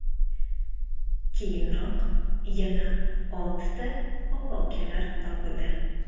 Keyinroq yana oltita opa-ukalar topildi.